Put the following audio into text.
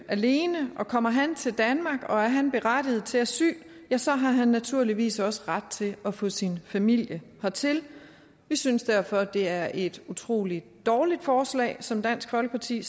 alene og kommer han til danmark og er han berettiget til asyl så har han naturligvis også ret til at få sin familie hertil vi synes derfor det er et utrolig dårligt forslag som dansk folkeparti